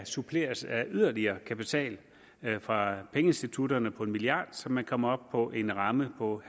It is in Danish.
suppleres af yderligere kapital fra pengeinstitutterne på en milliard så man kommer op på en ramme på